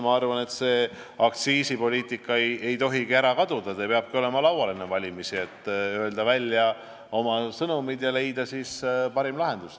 Ma arvan, et aktsiisipoliitikast kõnelemine ei tohi kaduda, see teema peabki olema enne valimisi laual, et saaks öelda välja oma sõnumid ja leida parima lahenduse.